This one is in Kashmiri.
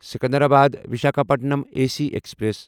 Secunderabad Visakhapatnam A C express